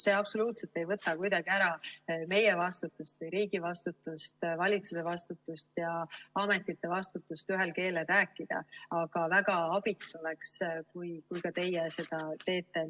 See absoluutselt ei võta kuidagi ära meie vastutust või riigi vastutust, valitsuse vastutust ja ametite vastutust ühel keelel rääkida, aga väga abiks oleks, kui ka teie seda teeksite.